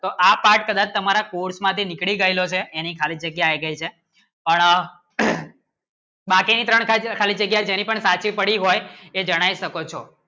તમારા course માટે નીકળી ગયેલો છે એની ખાલી જગ્યા આવી ગઈ છે એ જણાવી શકો છો